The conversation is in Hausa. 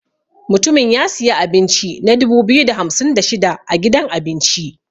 Mutumin ya siya abinci na dubu biyu da hamsin da shida a gidan abinci.